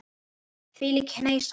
Þvílík hneisa.